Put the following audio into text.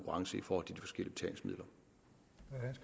i